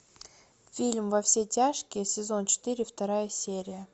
фильм во все тяжкие сезон четыре вторая серия